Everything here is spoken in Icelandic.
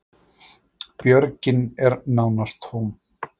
Björgin eru nánast tóm